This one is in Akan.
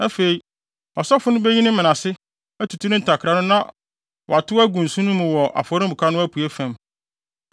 Afei, ɔsɔfo no beyi ne mene ase, atutu ne ntakra no na watow agu nsõ no mu wɔ afɔremuka no apuei fam.